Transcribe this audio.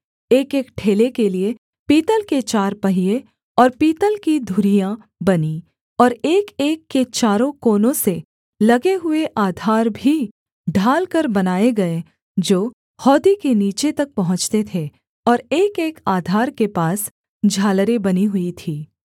एकएक ठेले के लिये पीतल के चार पहिये और पीतल की धुरियाँ बनीं और एकएक के चारों कोनों से लगे हुए आधार भी ढालकर बनाए गए जो हौदी के नीचे तक पहुँचते थे और एकएक आधार के पास झालरें बनी हुई थीं